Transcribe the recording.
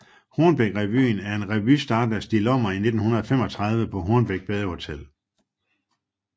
Hornbækrevyen er en revy startet af Stig Lommer i 1935 på Hornbæk Badehotel